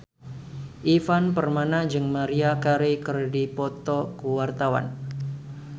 Ivan Permana jeung Maria Carey keur dipoto ku wartawan